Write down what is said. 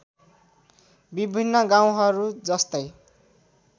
विभिन्न गाउँहरू जस्तै